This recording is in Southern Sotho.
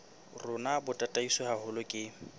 rona bo tataiswe haholo ke